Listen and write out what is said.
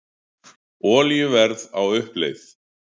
Olíuverð á uppleið